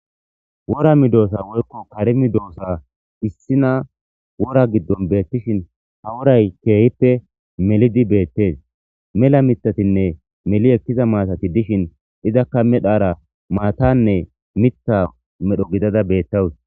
Wora medosa woyko kare medosa issina ha wora gidon beetishn ha woray keehippe melid betes .mela mithatine meli ekiza matat izaka medhara matane Mitha medho gidada betawus .